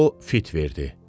O fit verdi.